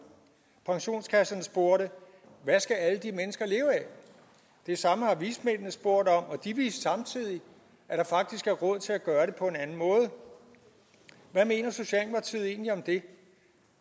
pensionskasserne spurgte hvad skal alle de mennesker leve af det samme har vismændene spurgt om og de viste samtidig at der faktisk er råd til at gøre det på en anden måde hvad mener socialdemokratiet egentlig om det